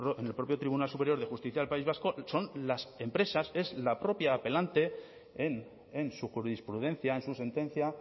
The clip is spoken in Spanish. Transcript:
en el propio tribunal superior de justicia del país vasco son las empresas es la propia apelante en su jurisprudencia en su sentencia